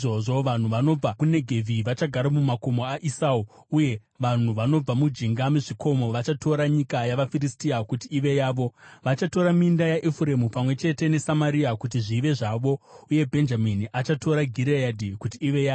Vanhu vanobva kuNegevhi vachagara mumakomo aEsau, uye vanhu vanobva mujinga mezvikomo vachatora nyika yavaFiristia kuti ive yavo. Vachatora minda yaEfuremu pamwe chete neSamaria, kuti zvive zvavo, uye Bhenjamini achatora Gireadhi kuti ive yake.